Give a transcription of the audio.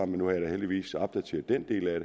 nu har jeg da heldigvis opdateret den del af